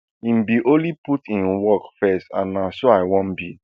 im bin only put im work first and na so i wan be